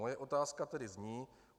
Moje otázka tedy zní.